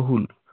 बहुल